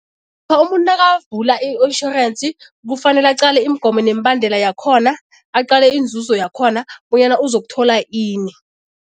umuntu nakavula i-insurance kufanele aqale imigomo nemibandela yakhona, aqale inzuzo yakhona bonyana uzokuthola ini.